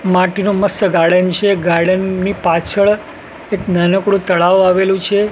માટીનું મસ્ત ગાર્ડન છે ગાર્ડન ની પાછળ એક નાનકડું તળાવ આવેલું છે.